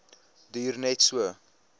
duur net so